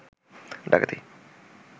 ডাকাতি